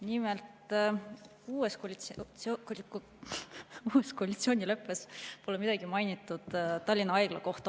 Nimelt, uues koalitsioonileppes pole midagi mainitud Tallinna Haigla kohta.